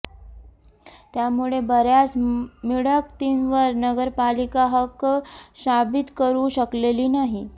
त्यामुळे बर्याच मिळकतींवर नगरपालिका हक्क शाबित करु शकलेली नाही